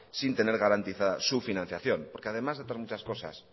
sin tener garantizada su financiación porque además de por muchas cosas